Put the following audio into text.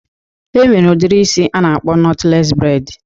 E nwere udiri isi a na-akpọ nọtlees breid